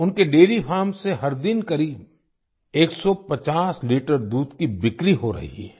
उनके dairy farm से हर दिन करीब डेढ़सौ लीटर दूध की बिक्री हो रही है